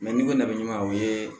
n'i ko ne bɛ ɲuman o ye